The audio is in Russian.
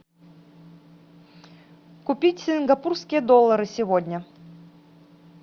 купить сингапурские доллары сегодня